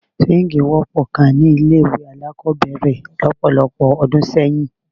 Súwíǹgì wọ́pọ̀ gan-an ni ilé-ìwé alákọ̀ọ́bẹ̀rẹ̀ lọ́pọ̀lọpọ̀ ọdún sẹ́yìn.